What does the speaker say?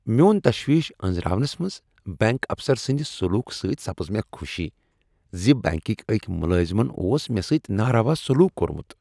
میون تشویش انزراونس منز بینك افسر سندِ سلوکہ سۭتۍ سپز مےٚ خوشی ز بینککۍ اکی ملازمن اوس مےٚ سۭتی نا روا سلوک کوٚرمت۔